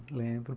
lembro.